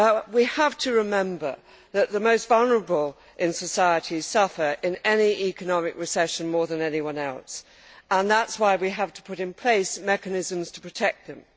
We have to remember that the most vulnerable in society suffer in any economic recession more than anyone else, and that is why we have to put in place mechanisms to protect them.